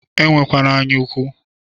Enwekwana anya ụkwụ!